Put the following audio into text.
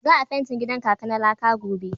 Za a fentin gidan kaka na laka gobe.